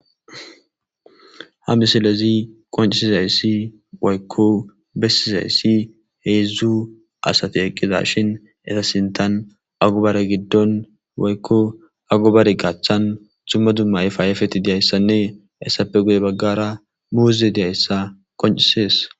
ha misilezi qoncisizayssi woykko bessizayssi heedzdzu asati eqqizashin esa sintan agobare giddon woykko agobare gachchan dumma dumma yfaayafeti diyayssanne essappe guye baggara muuze diyayssa qoncisees